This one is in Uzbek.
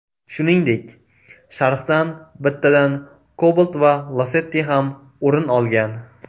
Shuningdek, sharhdan bittadan Cobalt va Lacetti ham o‘rin olgan.